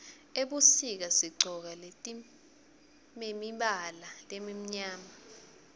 ebusika sigcoka letimemibala lemimyama